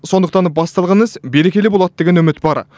сондықтан басталған іс берекелі болады деген үміт бар